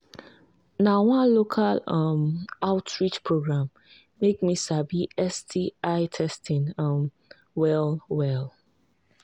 na one local um outreach program make me sabi sti testing um well well